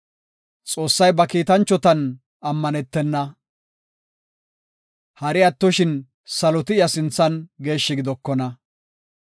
Xoossay ba kiitanchotan ammanetena; hari attoshin saloti iya sinthan geeshshi gidokona.